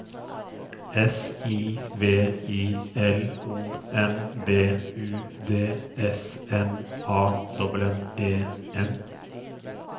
S I V I L O M B U D S M A N N E N